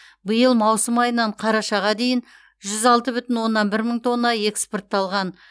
биыл маусым айынан қарашаға дейін жүз алты бүтін оннан бір мың тонна экспортталған